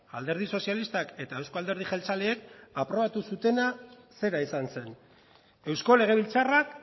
alderdi sozialistak eta euzko alderdi jeltzaleek aprobatu zutena zera izan zen eusko legebiltzarrak